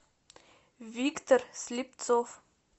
виктор слепцов